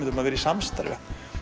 um að vera í samstarfi